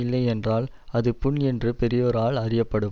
இல்லை என்றால் அது புண் என்று பெரியோரால் அறியப்படும்